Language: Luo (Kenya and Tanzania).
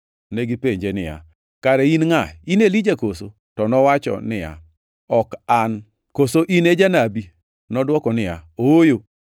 Negipenje niya, “Kare in ngʼa? In Elija koso?” To nowacho niya, “Ok an.” “Koso in e janabi?” Nodwoko niya, “Ooyo.”